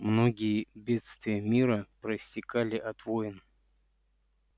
многие бедствия мира проистекали от войн